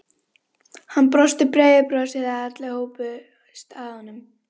Hann brosti breiðu brosi þegar allir hópuðust að honum.